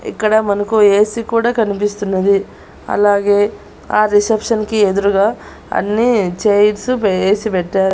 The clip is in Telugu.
ఇక్కడ మనకు ఏసి కూడా కనిపిస్తున్నది అలాగే ఆ రిసెప్షన్ కి ఎదురుగా అన్ని చైర్స్ వేసి పెట్టారు.